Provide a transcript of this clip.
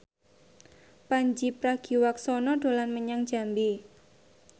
Pandji Pragiwaksono dolan menyang Jambi